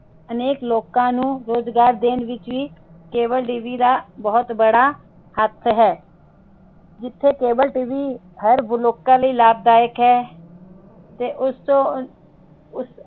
ਅਨੇਕ ਲੋਕ ਨੂੰ ਰੋਜਗਾਰ ਦੇਣ ਵਿਚ cableTV ਦਾ ਬਹੁਤ ਬੜਾ ਹੱਥ ਹੈ ਜਿਥੇ cableTV ਹਰ ਲੋਕਾਂ ਲਈ ਲਾਭਦਾਯਕ ਹੈ ਤੇ ਉਸਤੋਂ